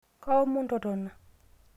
kaomon totona